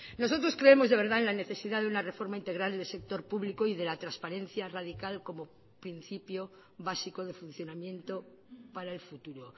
nosotros creemos de verdad en la necesidad de una reforma integral del sector público y de la transparencia radical como principio básico de funcionamiento para el futuro